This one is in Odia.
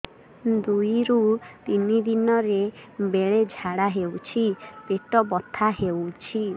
ଦୁଇରୁ ତିନି ଦିନରେ ବେଳେ ଝାଡ଼ା ହେଉଛି ପେଟ ବଥା ହେଉଛି